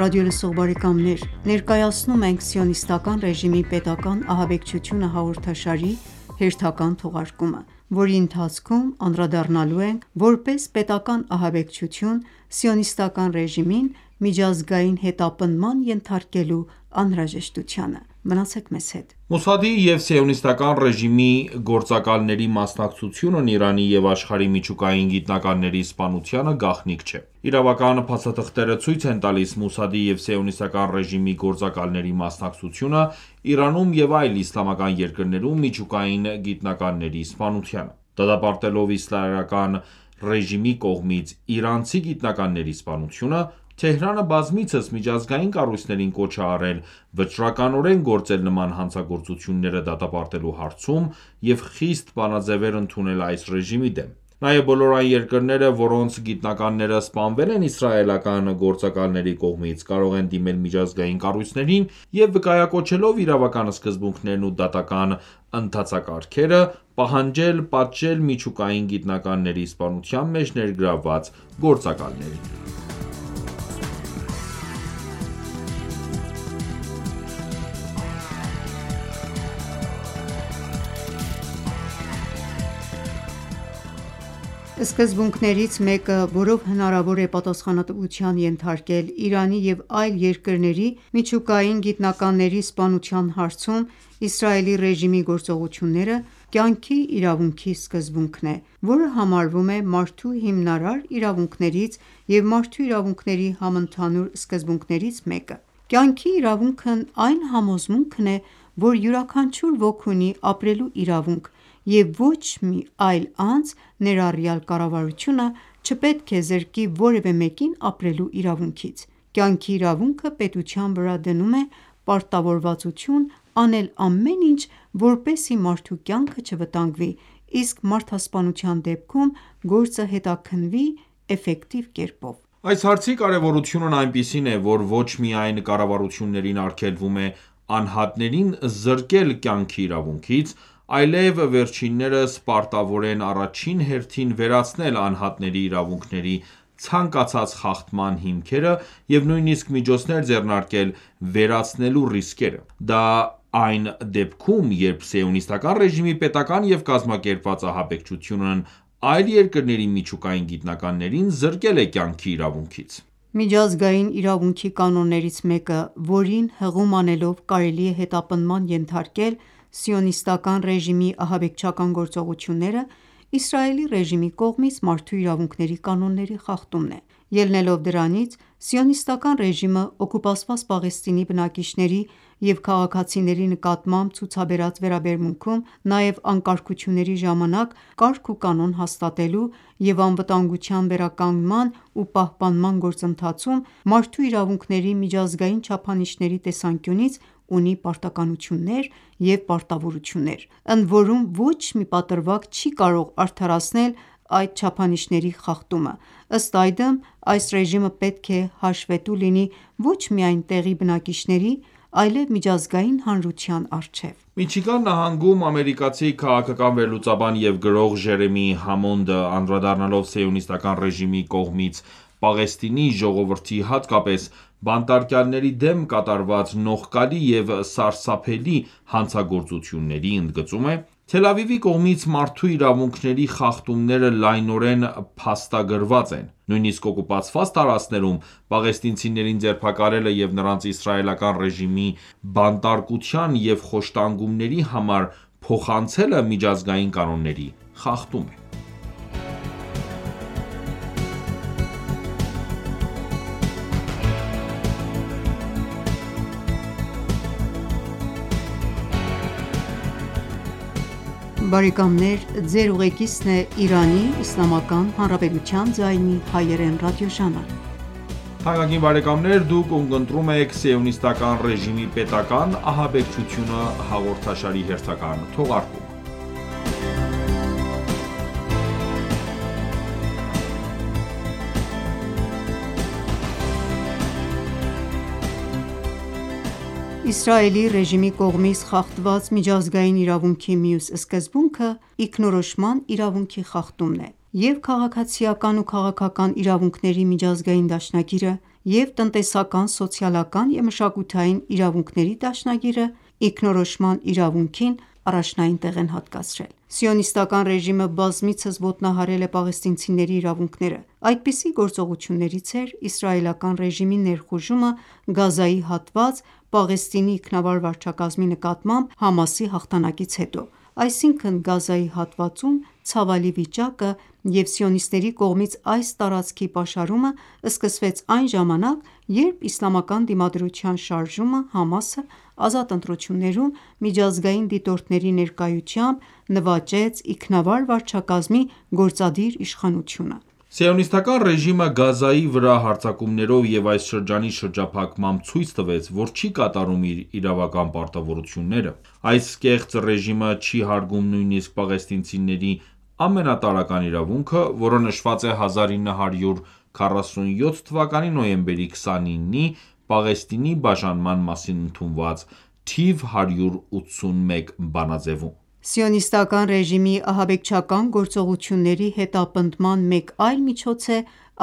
ռադիոլսող բարեկամներ: Ներկայացնում ենք «Սիոնիստական ռեժիմի պետական ահաբեկչությունը» հաղորդաշարի հերթական թողարկումը, որի ընթացքում անդրադառնալու ենք որպես պետական ահաբեկչություն Սիոնիստական ռեժիմին միջազգային հետապնդման ենթարկելու անհրաժեշտությանը: Մոսադի և Սիոնիստական ռեժիմի գործակալների մասնակցությունն Իրանի և աշխարհի միջուկային գիտնականների սպանությանը գաղտնիք չէ։ Իրավական փաստաթղթերը ցույց են տալիս Մոսադի և Սիոնիստական ռեժիմի գործակալների մասնակցությունը Իրանում և այլ իսլամական երկրներում միջուկային գիտնականների սպանությանը։ Դատապարտելով իսրայելական ռեժիմի կողմից իրանցի գիտնականների սպանությունը՝ Թեհրանը բազմիցս միջազգային կառույցներին կոչ է արել վճռականորեն գործել նման հանցագործությունները դատապարտելու հարցում և խիստ բանաձևեր ընդունել այս ռեժիմի դեմ ։ Նաև բոլոր այն երկրները, որոնց գիտնականները սպանվել են իսրայելական գործակալների կողմից, կարող են դիմել միջազգային կառույցներին և վկայակոչելով իրավական սկզբունքներն ու դատական ընթացակարգերը, պահանջել պատժել միջուկային գիտնականների սպանության մեջ ներգրավված գործակալներին։ Սկզբունքներից մեկը, որով հնարավոր է պատասխանատվության ենթարկել Իրանի և այլ երկրների միջուկային գիտնականների սպանության հարցում Իսրայելի ռեժիմի գործողությունները, կյանքի իրավունքի սկզբունքն է, որը համարվում է մարդու հիմնարար իրավունքներից և մարդու իրավունքների համընդհանուր սկզբունքներից մեկը։ Կյանքի իրավունքն այն համոզմունքն է, որ յուրաքանչյուր ոք ունի ապրելու իրավունք և ոչ մի այլ անձ, ներառյալ կառավարությունը, չպետք է զրկի որևէ մեկին ապրելու իրավունքից։ Կյանքի իրավունքը պետության վրա դնում է պարտավորվածություն անել ամեն ինչ որպեսզի մարդու կյանքը չվտանգվի, իսկ մարդասպանության դեպքում, գործը հետաքննվի էֆֆեկտիվ կերպով: Այս հարցի կարևորությունն այնպիսին է, որ ոչ միայն կառավարություններին արգելվում է անհատներին զրկել կյանքի իրավունքից, այլև վերջիններս պարտավոր են առաջին հերթին վերացնել անհատների իրավունքների ցանկացած խախտման հիմքերը և նույնիսկ միջոցներ ձեռնարկել՝ վերացնելու ռիսկերը։ Դա այն դեպքում, երբ Սիոնիստական ռեժիմի պետական և կազմակերպված ահաբեկչությունն այլ երկրների միջուկային գիտնականներին զրկել է կյանքի իրավունքից։ Միջազգային իրավունքի կանոններից մեկը, որին հղում անելով կարելի է հետապնդման ենթարկել Սիոնիստական ռեժիմի ահաբեկչական գործողությունները, Իսրայելի ռեժիմի կողմից մարդու իրավունքների կանոնների խախտումն է։ Ելնելով դրանից՝ Սիոնիստական ռեժիմը, օկուպացված Պաղեստինի բնակիչների և քաղաքացիների նկատմամբ ցուցաբերած վերաբերմունքում, նաև անկարգությունների ժամանակ կարգուկանոն հաստատելու և անվտանգության վերականգնման ու պահպանման գործընթացում, մարդու իրավունքների միջազգային չափանիշների տեսանկյունից ունի պարտականություններ և պարտավորություններ, ընդորում ոչ մի պատրվակ չի կարող արդարացնել այդ չափանիշների խախտումը: Ըստ այդմ, այս ռեժիմը պետք է հաշվետու լինի ոչ միայն տեղի բնակիչների, այլեւ միջազգային հանրության առջեւ։ Միչիգան նահանգում ամերիկացի քաղաքական վերլուծաբան և գրող՝ Ջերեմի Համոնդը, անդրադառնալով Սիոնիստական ռեժիմի կողմից Պաղեստինի ժողովրդի, հատկապես բանտարկյալների դեմ կատարված նողկալի և սարսափելի հանցագործությունների, ընդգծում է.-«Թել Ավիվի կողմից մարդու իրավունքների խախտումները լայնորեն փաստագրված են։ Նույնիսկ օկուպացված տարածքներում պաղեստինցիներին ձերբակալելը և նրանց իսրայելական ռեժիմին բանտարկության և խոշտանգումների համար փոխանցելը միջազգային կանոնների խախտում է։ Իսրայելի ռեժիմի կողմից խախտված միջազգային իրավունքի մյուս սկզբունքը ինքնորոշման իրավունքի խախտումն է:Ե՛վ՛ Քաղաքացիական ու քաղաքական իրավունքների միջազգային դաշնագիրը, և՛ տնտեսական, սոցիալական և մշակութային իրավունքների դաշնագիրը ինքնորոշման իրավունքին առաջնային տեղ են հատկացրել: Սիոնիստական ռեժիմը բազմիցս ոտնահարել է պաղեստինցիների իրավունքները։ Այդպիսի գործողություններից էր իսրայելական ռեժիմի ներխուժումը Գազայի հատված՝ Պաղեստինի ինքնավար վարչակազմի նկատմամբ ՀԱՄԱՍ-ի հաղթանակից հետո: Այսինքն, Գազայի հատվածում ցավալի վիճակը և սիոնիստների կողմից այս տարածքի պաշարումը սկսվեց այն ժամանակ, երբ Իսլամական դիմադրության շարժումը ազատ ընտրություններում միջազգային դիտորդների ներկայությամբ նվաճեց ինքնավար վարչակազմի գործադիր իշխանությունը։ Սիոնիստական ռեժիմը Գազայի վրա հարձակումներով և այս շրջանի շրջափակմամբ ցույց տվեց, որ չի կատարում իր իրավական պարտավորությունները։ Այս կեղծ ռեժիմը չի հարգում նույնիսկ պաղեստինցիների ամենատարրական իրավունքը, որը նշված է 1947 թվականի նոյեմբերի 29-ի Պաղեստինի բաժանման մասին ընդունված թիվ181 բանաձեւում։ Սիոնիստական ռեժիմի ահաբեկչական գործողությունների հետապնդման մեկ այլ միջոց է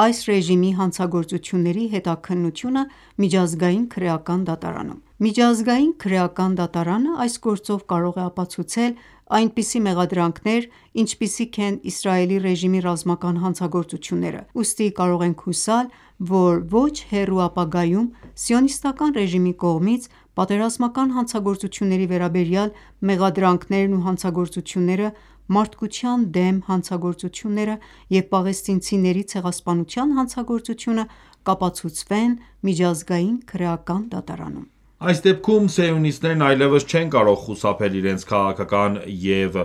այս ռեժիմի հանցագործությունների հետաքննությունը Միջազգային քրեական դատարանում: Միջազգային քրեական դատարանը այս գործով կարող է ապացուցել այնպիսի մեղադրանքներ, ինչպիսիք են Իսրայելի ռեժիմի ռազմական հանցագործությունները, ուստի կարող ենք հուսալ, որ ոչ հեռու ապագայում Սիոնիստական ռեժիմի կողմից պատերազմական հանցագործությունների վերաբերյալ մեղադրանքներն ու հանցագործությունները, Մարդկության դեմ հանցագործությունները և պաղեստինցիների ցեղասպանության հանցագործությունը կապացուցվեն Միջազգային քրեական դատարանում։ Այս դեպքում սիոնիստներն այլևս չեն կարող խուսափել իրենց քաղաքական և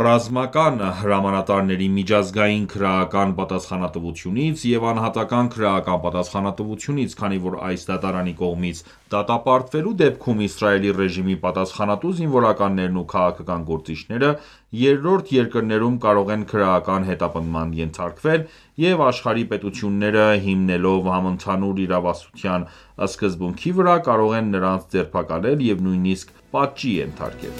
ռազմական հրամանատարների միջազգային քրեական պատասխանատվությունից և անհատական քրեական պատասխանատվությունից, քանի որ այս դատարանի կողմից դատապարտվելու դեպքում Իսրայելի ռեժիմի պատասխանատու զինվորականներն ու քաղաքական գործիչները երրորդ երկրներում կարող են քրեական հետապնդման ենթարկվել և աշխարհի պետությունները հիմնվելով համընդհանուր իրավասության սկզբունքի վրա կարող են նրանց ձերբակալել և նույնիսկ պատժի ենթարկել: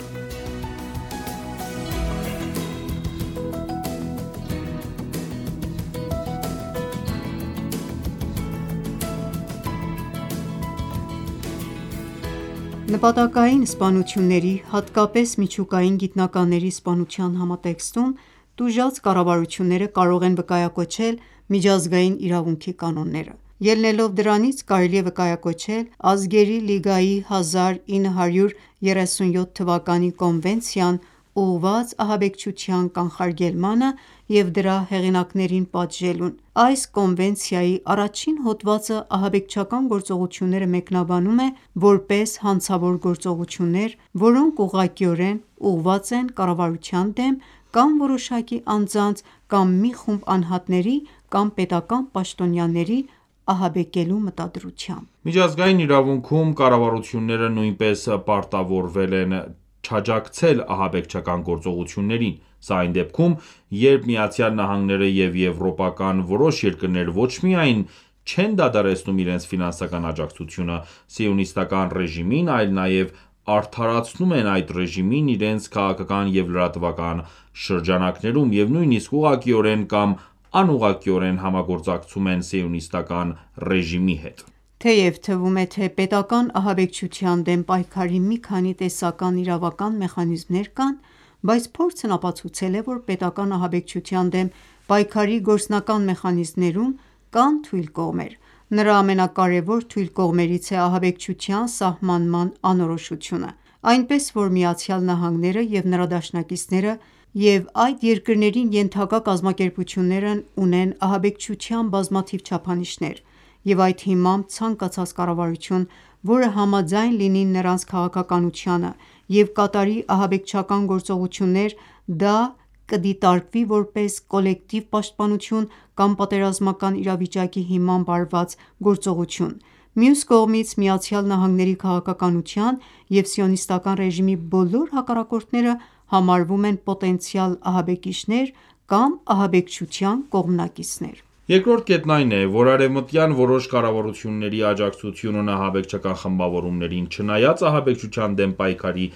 Նպատակային սպանությունների, հատկապես միջուկային գիտնականների սպանության համատեքստում, տուժած կառավարությունները կարող են վկայակոչել միջազգային իրավունքի կանոնները: Ելնելով դրանից՝ կարելի է վկայակոչել Ազգերի լիգայի 1937թ.-ի կոնվենցիան՝ ուղղված ահաբեկչության կանխարգելմանը և դրա հեղինակներին պատժելուն։ Այս կոնվենցիայի 1-ին հոդվածը ահաբեկչական գործողությունները մեկնաբանում է, որպես հանցավոր գործողություններ, որոնք ուղղակիորեն ուղղված են կառավարության դեմ կամ որոշակի անձանց կամ մի խումբ անհանտների կամ պետական պաշտոնյաների ահաբեկելու մտադրությամբ: Միջազգային իրավունքում կառավարությունները նույնպես պարտավորվել են չաջակցել ահաբեկչական գործողություններին: Սա այն դեպքում, երբ ԱՄՆ-ն և եվրոպական որոշ երկրներ ոչ միայն չեն դադարեցնում իրենց ֆինանսական աջակցությունը Սիոնիստական ռեժիմին, այլ նաև արդարացնում են այդ ռեժիմին իրենց քաղաքական և լրատվական շրջանակներում և նույնիսկ ուղղակիորեն կամ անուղղակիորեն համագործակցում են Սիոնիստական ռեժիմի հետ: Թեև թվում է, թե պետական ահաբեկչության դեմ պայքարի մի քանի տեսական իրավական մեխանիզմներ կան, բայց փորձն ապացուցել է, որ պետական ահաբեկչության դեմ պայքարի գործնական մեխանիզմներում կան թույլ կողմեր։ Նրա ամենակարևոր թույլ կողմերից է ահաբեկչության սահմանման անորոշությունը, այնպես որ ԱՄՆ-ն և նրա դաշնակիցները և այդ երկրներին ենթակա կազմակերպությունները ունեն ահաբեկչության բազմաթիվ չափանիշներ, և,այդ հիմամբ ցանկացած կառավարություն, որը համաձայն լինի նրանց քաղաքականությանը և կատարի ահաբեկչական գործողություններ, դա կդիտարկվի որպես կոլեկտիվ պաշտպանություն կամ պատերազմական իրավիճակի հիմամբ արվա գործողություն: Մյուս կողմից, ԱՄՆ-ի քաղաքականության և Սիոնիստական ռեժիմի բոլոր հակառակորդները համարվում են պոտենցիալ ահաբեկիչներ կամ ահաբեկչության կողմնակիցներ։ Երկրորդ կետն այն է, որ արևմտյան որոշ կառավարությունների աջակցությունն ահաբեկչական խմբավորումներին, չնայած ահաբեկչության դեմ պայքարի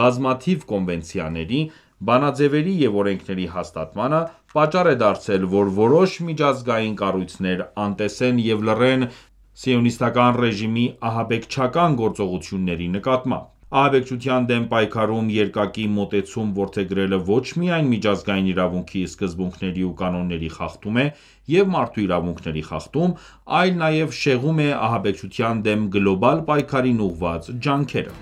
բազմաթիվ կոնվենցիաների, բանաձևերի և օրենքների հաստատմանը, պատճառ է դարձել, որ որոշ միջազգային կառույցներ անտեսեն և լռեն Սիոնիստական ռեժիմի ահաբեկչական գործողությունների նկատմամբ։ Ահաբեկչության դեմ պայքարում երկակի մոտեցում որդեգրելը ոչ միայն միջազգային իրավունքի սկզբունքների ու կանոնների խախտում է և մարդու իրավունքների խախտում, այլ նաև շեղում է ահաբեկչության դեմ գլոբալ պայքարին ուղղված ջանքերը: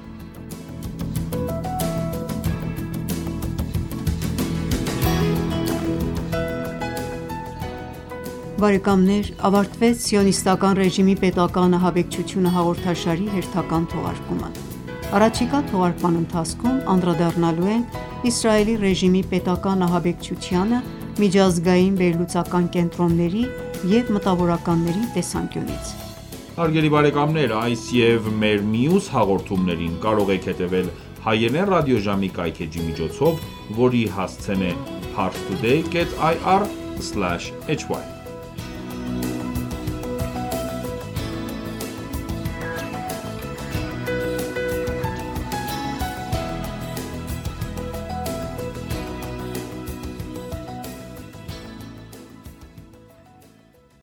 Ավարտվեց «Սիոնիստական ռեժիմի պետական ահաբեկչությունը» հաղորդաշարի հերթական թողարկումը: Առաջիկա թողարկման ընթացքում անդրադառնալու ենք Իսրայելի ռեժիմի պետական ահաբեկչությանը միջազգային վերլուծական կենտրոնների և մտավորականների տեսանկյունից: Հարգելի բարեկամներ ա՛յս և մեր մյուս հաղորդումներին կարող եք հետևել հայերեն ռադիոժամի կայքէջի միջոցով, որի հասցեն է՝parstoday.ir/hy